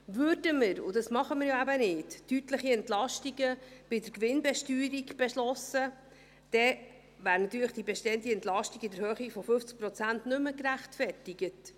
Würden wir, und dies tun wir ja eben nicht, deutliche Entlastungen bei der Gewinnbesteuerung beschliessen, dann wäre natürlich die bestehende Entlastung in der Höhe von 50 Prozent nicht mehr gerechtfertigt.